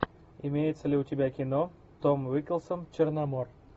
имеется ли у тебя кино том уиколсон черномор